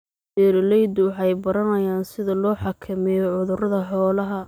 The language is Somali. Beeraleydu waxay baranayaan sida loo xakameeyo cudurrada xoolaha.